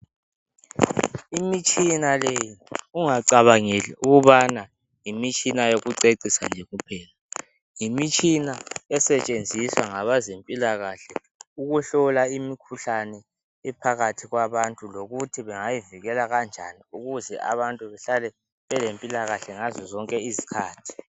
Imitshina leyi ungacabangeli ukubana yimitshina yokucecisa nje kuphela, yimitshina esetshenziswa ngabezempilakahle ukuhlola imikhuhlane ephakathi kwabantu lokuthi abantu bengayivikela kanjani kuze behlale bele mpilakahle ngazo zonke izikhathi.